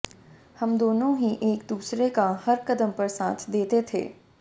हम दोनों ही एक दूसरे का हर कदम पर साथ देते थे